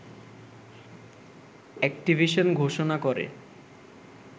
Activision ঘোষণা করে